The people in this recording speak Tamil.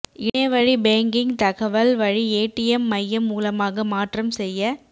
இணைய வழி பேங்கிங் தகவல் வழி ஏடிஎம் மையம் மூலமாக மாற்றம் செய்ய